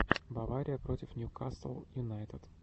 бавария против ньюкасл юнайтед